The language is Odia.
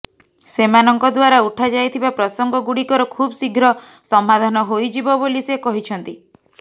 ସେମାନଙ୍କ ଦ୍ୱାରା ଉଠାଯାଇଥିବା ପ୍ରସଙ୍ଗଗୁଡ଼ିକର ଖୁବଶୀଘ୍ର ସମାଧାନ ହୋଇଯିବ ବୋଲି ସେ କହିଛନ୍ତି